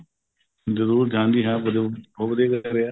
ਜਰੂਰ ਹਾਂਜੀ ਹਾਂ ਜਰੂਰ ਬਹੁਤ ਵਧੀਆ ਕਰਿਆ